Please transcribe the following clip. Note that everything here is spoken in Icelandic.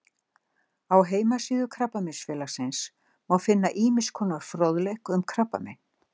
Á heimasíðu Krabbameinsfélagsins má finna ýmiss konar fróðleik um krabbamein.